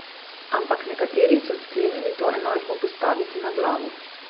Ampak nekateri so sklenili to enačbo postaviti na glavo.